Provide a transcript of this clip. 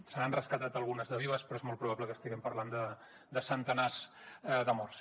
se n’han rescatat algunes de vives però és molt probable que estiguem parlant de centenars de morts